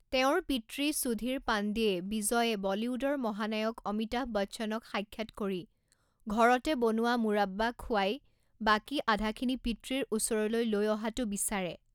তেওঁৰ পিতৃ সুধীৰ পাণ্ডেয়ে বিজয়ে বলীউডৰ মহানায়ক অমিতাভ বচ্চনক সাক্ষাৎ কৰি ঘৰতে বনোৱা মুৰাব্বা খুৱাই বাকী আধাখিনি পিতৃৰ ওচৰলৈ লৈ অহাটো বিচাৰে।